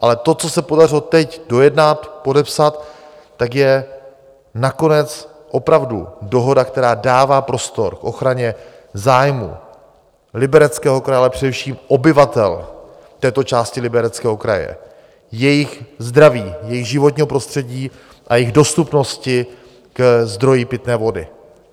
Ale to, co se podařilo teď dojednat, podepsat, tak je nakonec opravdu dohoda, která dává prostor k ochraně zájmů Libereckého kraje, ale především obyvatel této části Libereckého kraje, jejich zdraví, jejich životního prostředí a jejich dostupnosti ke zdroji pitné vody.